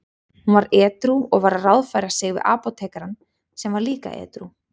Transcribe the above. Hún var edrú og var að ráðfæra sig við apótekarann sem var líka edrú.